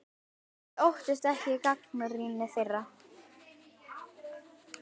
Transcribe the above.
Þið óttist ekki gagnrýni þeirra?